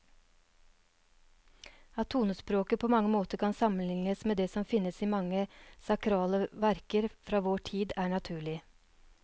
At tonespråket på mange måter kan sammenlignes med det som finnes i mange sakrale verker fra vår tid, er naturlig.